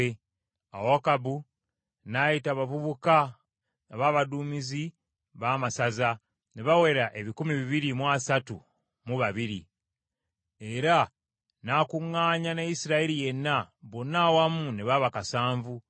Awo Akabu n’ayita abavubuka ab’abaduumizi b’amasaza, ne bawera ebikumi bibiri mu asatu mu babiri (232). Era n’akuŋŋaanya ne Isirayiri yenna, bonna awamu ne baba kasanvu (7,000).